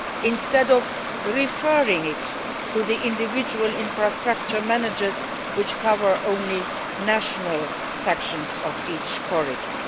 instead of referring matters to the individual infrastructure managers, which cover only national sections of each corridor.